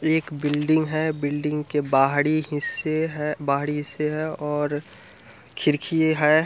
एक बिल्डिंग है बिल्डिंग के बाहरी हिस्से बाहरी हिस्से है और खिड़की है।